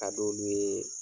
K'a d'olu ye